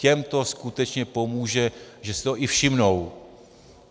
Těm to skutečně pomůže, že si toho i všimnou.